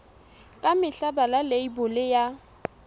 ka mehla bala leibole ya